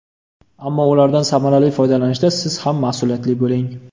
Ammo ulardan samarali foydalanishda siz ham mas’uliyatli bo‘ling.